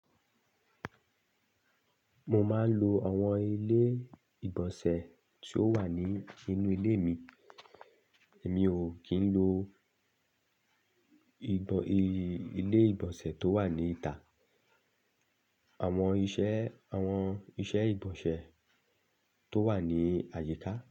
Mo máa ń lo àwọn ilé ìgbọ̀nsẹ̀ tí ó wà ní inú ilé mi, èmi ò kí ń lo ìgbọ̀n, ilé ìgbọ̀nsẹ̀ tó wà ní ìta, àwọn iṣẹ́, àwọn iṣẹ́ ìgbọ̀nsẹ̀ tó wà ní àyíká.